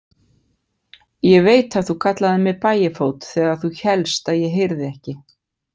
Ég veit að þú kallaðir mig Bægifót þegar þú hélst ég heyrði ekki.